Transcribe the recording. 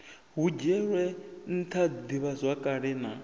hu dzhielwe ntha divhazwakale na